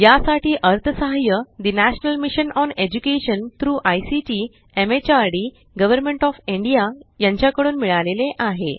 यासाठी अर्थसहाय्य ठे national mission on education through ICT MHRD government of India कडून मिळाले आहे